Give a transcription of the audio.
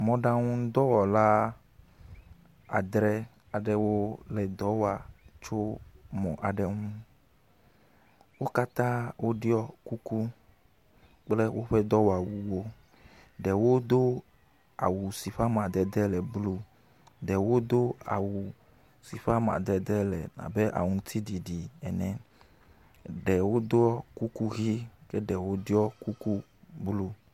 Mɔɖaŋudɔwɔla adre aɖewo le dɔ wɔ tso mɔ aɖe ŋu. Wo katã woɖɔ kuku kple woƒe dɔwɔwuwo. Ɖewo do awu si ƒe amadede le blu, ɖewo do awu si ƒe amadede la abe aŋutiɖiɖi ene, ɖewo ɖɔ kuku ʋi ke ɖewo ɖɔ kuku blu.